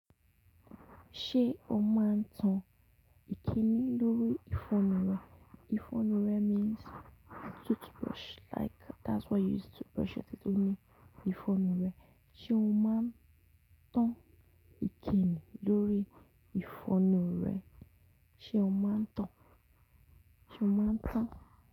Ṣé o máa ń tan ìkíni lórí ìfọnu rẹ? Ìfọnu rẹ means toothbrush like that's what you use to brush your teeth ni ìfọnu rẹ. Sé o máa ń tan ìkíni lórí ìfọnu rẹ? Sé o máa ń tan? Sé o máa ń tan?